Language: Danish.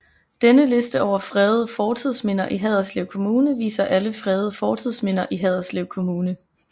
Denne liste over fredede fortidsminder i Haderslev Kommune viser alle fredede fortidsminder i Haderslev Kommune